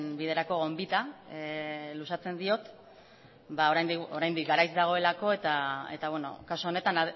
biderako gonbita luzatzen diot oraindik garaiz dagoelako eta kasu honetan